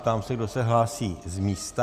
Ptám se, kdo se hlásí z místa.